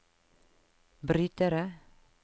brytere